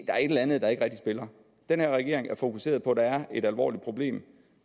er et eller andet der ikke rigtig spiller den her regering er fokuseret på at der er et alvorligt problem